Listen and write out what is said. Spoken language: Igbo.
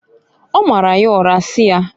O mara ya ura si yaː